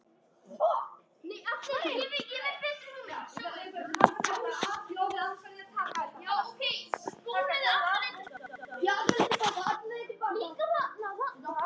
Hildur frænka.